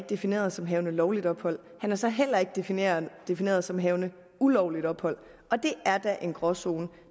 defineret som havende lovligt ophold han er så heller ikke defineret defineret som havende ulovligt ophold og det er en gråzone